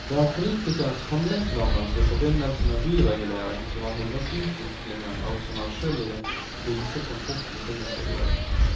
Det er politikernes handlingslammelse i forbindelse med byregulering som har hindret utviklingen og som er skyld i den krise transporten befinner seg i dag.